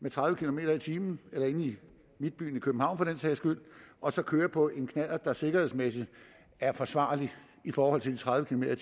med tredive kilometer per time eller inde i midtbyen i københavn for den sags skyld og så køre på en knallert der sikkerhedsmæssigt er forsvarlig i forhold til de tredive